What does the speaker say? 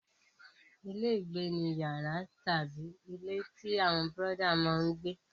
Ilé-ìgbé ni yàrá tàbí ilé tí àwọn bọ́dà máa ń gbé.